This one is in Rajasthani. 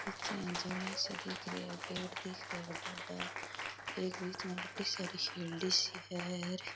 पीछे इया जालियां सी दीख री है पेड़ दीख रेहा बड़ा बड़ा एक बिच में बड़ी सारी सी है।